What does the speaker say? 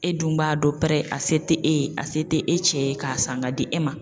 E dun b'a dɔn pɛrɛ , a se te e ye a se te e cɛ ye ka san ka di e ma.